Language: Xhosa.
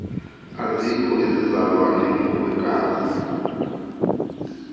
azikho izizalwane ngokwegazi